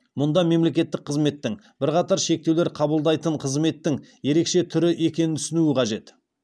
мұнда мемлекеттік қызметтің бірқатар шектеулер қабылдайтын қызметтің ерекше түрі екенін түсіну қажет